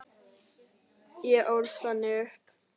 Ég ólst þannig upp.